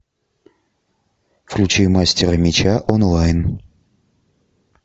включи мастера меча онлайн